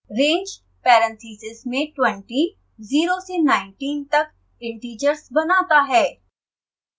range parentheses में twenty 0 से 19 तक इंटिजर्स बनाता है